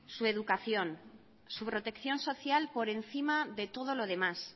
su educación su protección social por encima de todo lo demás